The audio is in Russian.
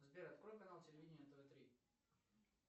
сбер открой канал телевидения тв три